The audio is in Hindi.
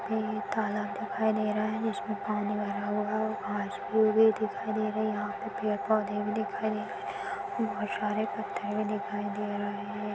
ये एक तालाब दिखाई दे रहा है जिसमें पानी भरा हुआ है घास-फूस भी दिखाई दे रही हैं पेड़-पौधे भी दिखाई दे रहे है और बहुत सारे पत्थर भी दिखाई दे रहे है।